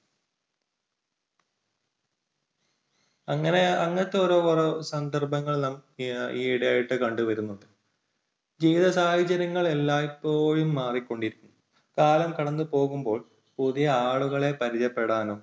അങ്ങനെ~അങ്ങനത്തെ ഓരോ സന്ദർഭങ്ങൾ നമ്മൾ ഈ ഇടയായിട്ട് കണ്ടുവരുന്നുണ്ട്. ജീവിത സാഹചര്യങ്ങൾ എല്ലായിപ്പോഴും മാറിക്കൊണ്ടിരിക്കും. കാലം കടന്നു പോകുമ്പോൾ പുതിയ ആളുകളെ പരിചയപ്പെടാനും